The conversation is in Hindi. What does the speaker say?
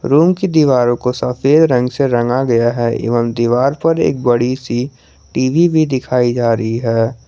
रूम की दीवारों को सफेद रंग से रंगा गया है एवं दीवार पर एक बड़ी सी टी_वी भी दिखाई जा रही है।